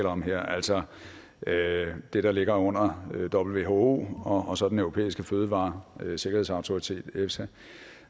om her altså det der ligger under who og så den europæiske fødevaresikkerhedsautoritet efsa